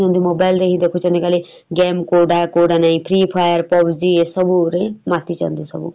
mobile ଧରି ଦେଖୁଛନ୍ତି କାଳେ game କଉଟା କଉଟା ନାଇଁ free fire pubg ଏସବୁ ରେ ମାତିଛନ୍ତି ସବୁ ।